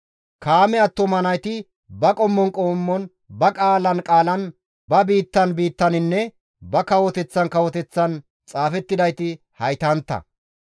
Kaame attuma nayti ba qommon qommon, ba qaalan qaalan, ba biittan biittaninne ba kawoteththan kawoteththan xaafettidayti haytantta.